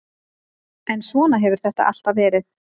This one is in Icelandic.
En svona hefur þetta alltaf verið.